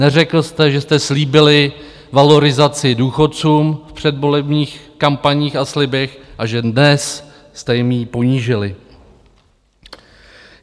Neřekl jste, že jste slíbili valorizaci důchodcům v předvolebních kampaních a slibech a že dnes jste jim ji ponížili.